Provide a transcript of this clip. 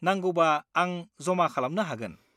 नांगौबा आं जमा खालामनो हागोन।